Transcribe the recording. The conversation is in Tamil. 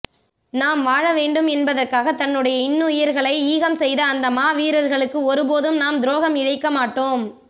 நாம் வாழவேண்டும் என்பதற்காக தன்னுடைய இன்னுயிர்களை ஈகம் செய்த அந்த மாவீரர்களுக்கு ஒருபோதும் நாம் துரோகம் இழைக்க மாட்டோம்